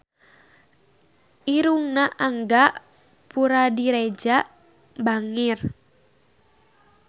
Irungna Angga Puradiredja bangir